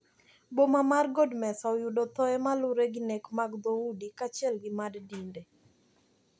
Boma mar god mesa oyudo thoe malure gi nek mag dhoudi kachiel gi mad dinde.